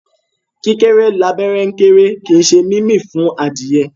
Kíkéré l'abẹ́rẹ́ kéré, kì í ṣe mímì fún adìyẹ.